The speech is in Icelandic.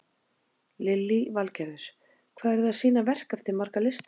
Lillý Valgerður: Hvað eru þið að sýna verk eftir marga listamenn?